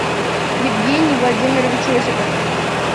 евгений владимирович осипов